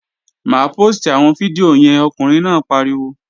Má póòstì àwọn fídíò yẹn, ọkùnrin náà pariwo!